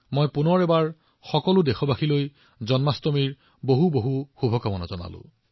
মই আকৌ এবাৰ সকলো দেশবাসীক জন্মাষ্টমীৰ শুভেচ্ছা জনাইছো